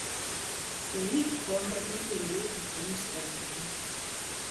Sheikh Ponda noterore kapolis Tanzania